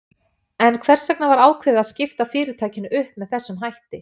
En hvers vegna var ákveðið að skipta fyrirtækinu upp með þessum hætti?